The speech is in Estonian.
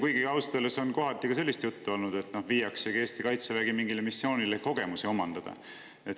Kuigi ausalt öeldes on kohati ka sellist juttu olnud, et viiaksegi Eesti kaitsevägi mingile missioonile kogemusi omandama.